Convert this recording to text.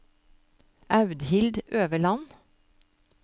Audhild Øverland